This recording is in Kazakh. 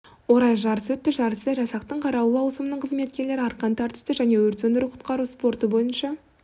орай жарыс өтті жарыста жасақтың қарауыл ауысымның қызметкерлері арқан тартысы және өрт сөндіру-құтқару спорты бойынша